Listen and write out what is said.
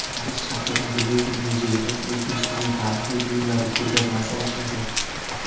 Parij shahridagi Luvr muzeyida O‘zbekistonning tarixiy buyumlari ko‘rgazmasi ochiladi.